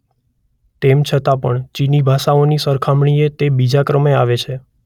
તેમ છતાં પણ ચીની ભાષાઓની સરખામણીએ તે બીજા ક્રમે આવે છે.